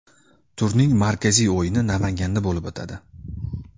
Turning markaziy o‘yini Namanganda bo‘lib o‘tadi.